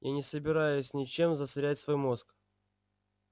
я не собираюсь ничем засорять свой мозг